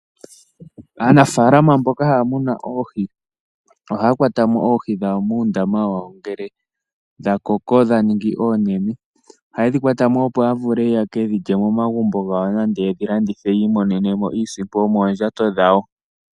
Aanafalama mboka haa muna oohi, oha kwata mo oohi muundama wawo ngele dha koko dha ningi oonene. Oha ye dhi kwata mo opo ya vule yeke dhilye momagumbo gawo. Nande yedhi landithe yi imonene mo iisimpo yo moondjato dhawo.